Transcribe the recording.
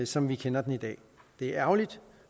som vi kender den i dag det er ærgerligt